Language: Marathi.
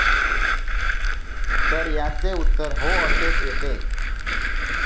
तर याचे उत्तर हो असेच येते.